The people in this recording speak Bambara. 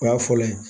O y'a fɔlɔ ye